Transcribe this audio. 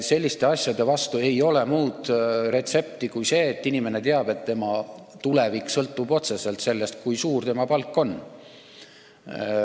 Selliste asjade vastu ei ole muud retsepti kui see, et inimene teab, et tema tulevik sõltub otseselt sellest, kui suur tema palk on.